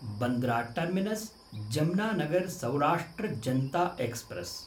Bandra terminus Jamnagar Saurashtra Janta express